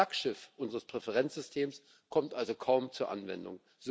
Das Flaggschiff unseres Präferenzsystems kommt also kaum zur Anwendung.